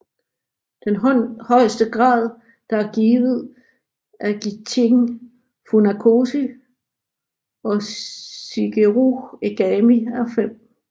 Den højeste grad der er givet af Gichin Funakoshi og Shigeru Egami er 5